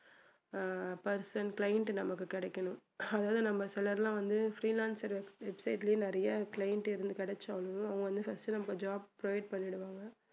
ஆஹ் first அந்த client நமக்கு கிடைக்கணும் அதாவது நம்ம சிலர் எல்லாம் வந்து freelancer website லயே நிறைய client எது கிடைச்சாலும் அவங்க வந்து first நமக்கு job provide பண்ணிடுவாங்க